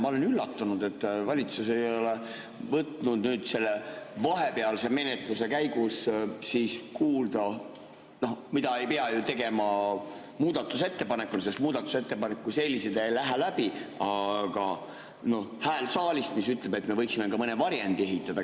Ma olen üllatunud, et valitsus ei ole võtnud selle vahepealse menetluse käigus kuulda – ei pea ju tegema muudatusettepanekut, sest muudatusettepanekud kui sellised ei lähe läbi – häält saalist, mis ütleb, et me võiksime ka mõne varjendi ehitada.